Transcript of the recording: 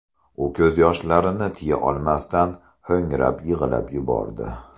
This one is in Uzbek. U ko‘z yoshlarini tiya olmasdan, ho‘ngrab yig‘lab yubordi.